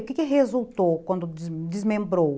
O que resultou quando des desmembrou?